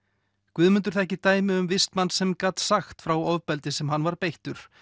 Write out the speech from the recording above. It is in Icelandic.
Guðmundur þekkir dæmi um vistmann sem gat sagt frá ofbeldi sem hann var beittur